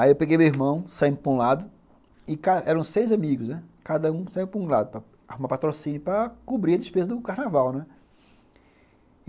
Aí eu peguei meu irmão, saímos para um lado, e cara, eram seis amigos, né, cada um saia para um lado para arrumar patrocínio para cobrir a despesa do carnaval, né. E,